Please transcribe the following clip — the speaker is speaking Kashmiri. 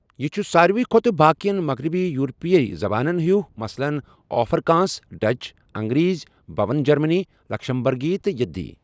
یہِ چھُ سارِوٕے کھۄتہٕ باقیَن مَغرَبی یوٗروپی زبانن ہیُو، مِثلن آفرِکانٛس، ڈَچ، اَنٛگریٖزۍ، بۄن جَرمَن، لَکسَمبَرگی، تہٕ یِدی